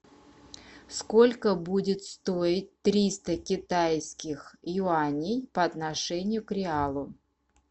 сколько будет стоить триста китайских юаней по отношению к реалу